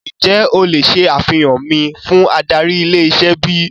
Ǹjẹ́ o le ṣe àfihàn mi fún adarí ilé-iṣẹ́ bíi?